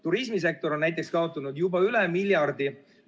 Turismisektor on näiteks kaotanud juba üle miljardi.